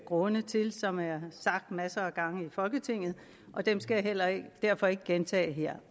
grunde til som er sagt masser af gange i folketinget og dem skal jeg derfor ikke gentage her